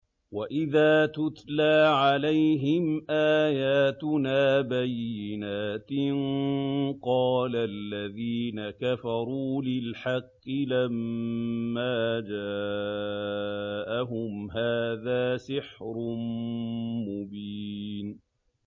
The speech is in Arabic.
وَإِذَا تُتْلَىٰ عَلَيْهِمْ آيَاتُنَا بَيِّنَاتٍ قَالَ الَّذِينَ كَفَرُوا لِلْحَقِّ لَمَّا جَاءَهُمْ هَٰذَا سِحْرٌ مُّبِينٌ